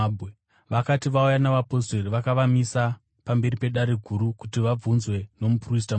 Vakati vauya navapostori, vakavamisa pamberi peDare Guru kuti vabvunzwe nomuprista mukuru.